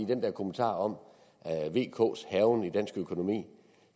den der kommentar om vks hærgen i dansk økonomi